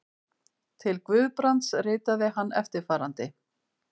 Til Guðbrands ritaði hann eftirfarandi